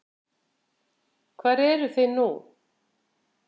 Hvar eru þið nú?